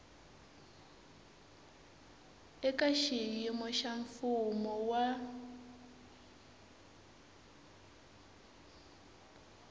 eka xiyimo xa mfumo wa